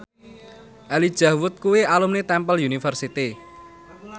Elijah Wood kuwi alumni Temple University